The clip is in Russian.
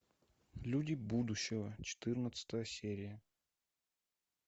люди будущего четырнадцатая серия